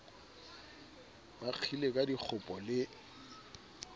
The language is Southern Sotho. bo kgile ka dikgopo le